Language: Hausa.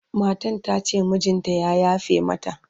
matan tace mijinta ya yafe mata